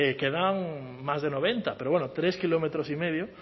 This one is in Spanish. quedan más de noventa pero bueno tres kilómetros y medio